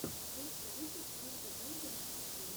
лучший выпуск бинго бонго муви фильм